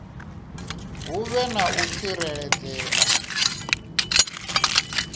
hu vhe na u tsireledzea